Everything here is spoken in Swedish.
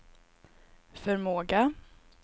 förmåga